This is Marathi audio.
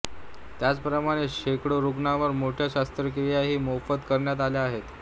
त्याच प्रमाणे शकडो रुग्णांवर मोठ्या शास्त्रकियाही मोफत करण्यात आल्या आहेत